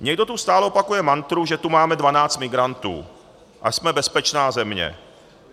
Někdo tu stále opakuje mantru, že tu máme dvanáct migrantů a jsme bezpečná země.